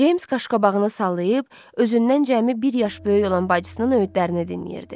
Ceyms qaşqabağını sallayıb, özündən cəmi bir yaş böyük olan bacısının öyüdlərini dinləyirdi.